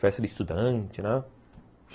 Festa de estudante, né?